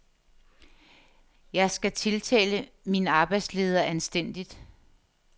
Jeg skal tiltale min arbejdsleder anstændigt.